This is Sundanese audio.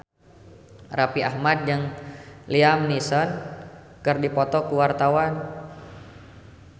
Raffi Ahmad jeung Liam Neeson keur dipoto ku wartawan